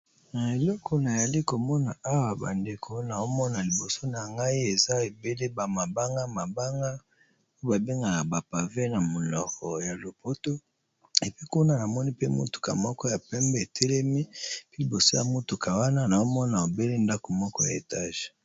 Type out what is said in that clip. Eloko nazali komona awa eza mabanga ébélé, pe liboso nazali komona ndaku ya étage